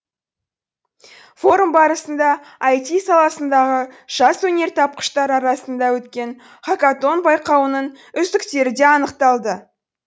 форум барысында ай ти саласындағы жас өнертапқыштар арасында өткен хакатон байқауының үздіктері де анықталды